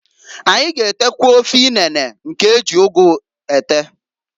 Anyi g'etekwa ofe inene nke eji ugu ete.